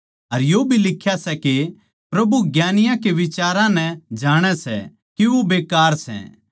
अर यो भी लिख्या सै के प्रभु ज्ञानियाँ के बिचारां नै जाणै सै के वो बेकार सै